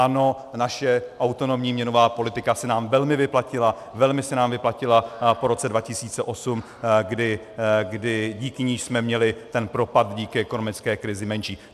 Ano, naše autonomní měnová politika se nám velmi vyplatila, velmi se nám vyplatila po roce 2008, kdy díky ní jsme měli ten propad díky ekonomické krizi menší.